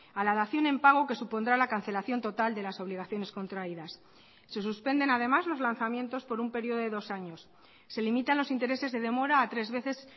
a la dación en pago que supondrá la cancelación total de las obligaciones contraídas se suspenden además los lanzamientos por un periodo de dos años se limitan los intereses de demora a tres veces